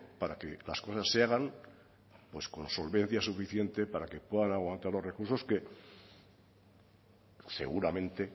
para que las cosas se hagan con solvencia suficiente para que puedan aguantar los recursos que seguramente